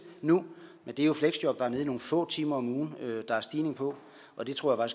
nu men det er jo fleksjob der er nede i nogle få timer om ugen der er stigning på og det tror jeg